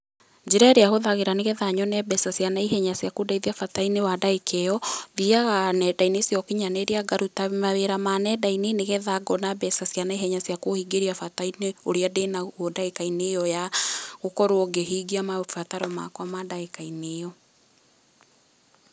Njĩra ĩrĩa hũthagĩra nĩgetha nyone mbeca cia naihenya cia kũndeithia bata-inĩ wa ndagĩka iyo, thiaga nenda-inĩ cia ũkinyanĩria ngaruta mawĩra ma nenda-inĩ, nĩgetha ngona mbeca cia naihenya cia kũhingĩria bata-inĩ ũrĩa ndĩnaguo ndagĩka-inĩ iyo ya gũkorwo ngĩhingia mabataro makwa ma ndagĩka-inĩ iyo.